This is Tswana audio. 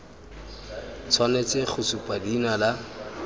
tshwanetse go supa leina la